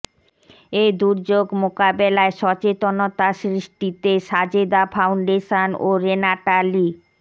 এ দুর্যোগ মোকাবেলায় সচেতনতা সৃষ্টিতে সাজেদা ফাউন্ডেশন ও রেনাটা লি